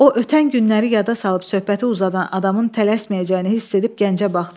O ötən günləri yada salıb söhbəti uzadan adamın tələsməyəcəyini hiss edib gəncə baxdı.